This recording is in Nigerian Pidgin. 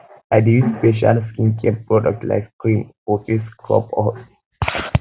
i dey use special skincare product like cream or face scrub to exfoliate my skin